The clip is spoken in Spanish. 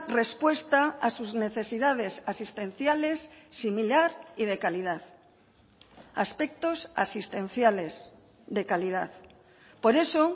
respuesta a sus necesidades asistenciales similar y de calidad aspectos asistenciales de calidad por eso